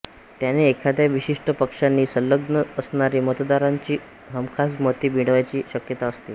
त्याने एखाद्या विशिष्ट पक्षाशी संलग्न असणारे मतदारांची हमखास मते मिळण्याची शक्यता असते